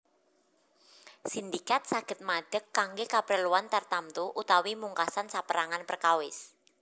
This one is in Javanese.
Sindikat saged madeg kanggé kapreluan tartamtu utawi mungkasan sapérangan perkawis